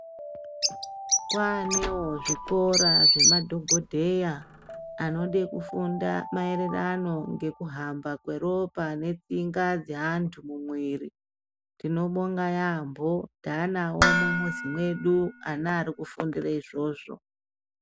Kwaanewo zvikora zvemadhogodheya anode kufunda maererano nekuhamba kweropa pane tsinga dzeantu mumwiri, tinobonga yaambo taanawo mumuzi mwedu ana arikufundire izvozvo.